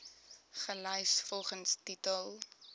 gelys volgens titel